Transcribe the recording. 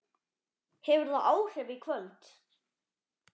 Hefur það áhrif í kvöld?